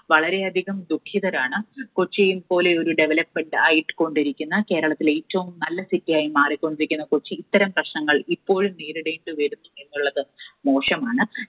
വളരെയധികം ദുഃഖിതരാണ്. കൊച്ചി പോലെയൊരു developed ആയിക്കൊണ്ടിരിക്കുന്ന, കേരളത്തിലെ ഏറ്റവും നല്ല City യായി മാറിക്കൊണ്ടിരിക്കുന്ന കൊച്ചി ഇത്തരം പ്രശ്നങ്ങൾ ഇപ്പോഴും നേരിടേണ്ടിവരുന്നു എന്നുള്ളത് മോശമാണ്.